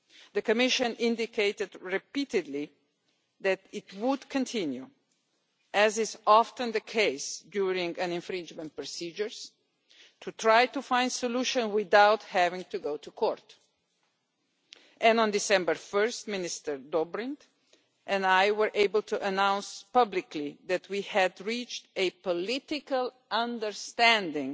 The Commission indicated repeatedly that it would continue, as is often the case during infringement procedures, to try to find a solution without having to go to court, and on 1 December Minister Alexander Dobrindt and I were able to announce publicly that we had reached a political understanding